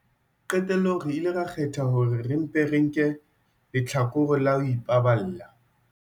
Qetellong re ile ra kgetha hore re mpe re nke lehlakore la ho ipaballa.